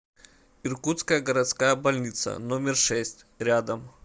иркутская городская больница номер шесть рядом